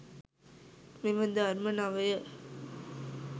මෙම ධර්ම නවය